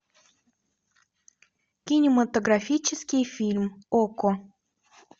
кинематографический фильм окко